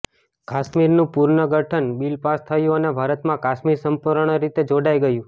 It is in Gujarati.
કાશ્મીરનું પુનગર્ઠન બિલ પાસ થયું અને ભારતમાં કાશ્મીર સંપુર્ણ રીતે જોડાઈ ગયુ